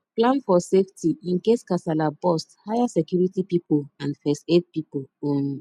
plan for safety incase kasala burst hire security pipo and first aid pipo um